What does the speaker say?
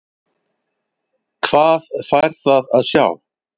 Hvað fær það að sjá?